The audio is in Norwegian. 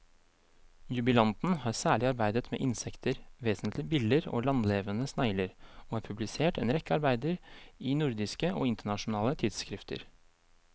Jubilanten har særlig arbeidet med insekter, vesentlig biller og landlevende snegler, og har publisert en rekke arbeider i nordiske og internasjonale tidsskrifter.